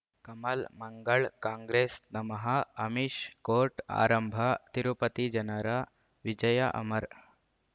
ಕಮಲ್ ಮಂಗಳ್ ಕಾಂಗ್ರೆಸ್ ನಮಃ ಅಮಿಷ್ ಕೋರ್ಟ್ ಆರಂಭ ತಿರುಪತಿ ಜನರ ವಿಜಯ ಅಮರ್